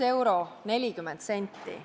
1 euro 40 senti.